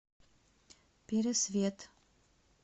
пересвет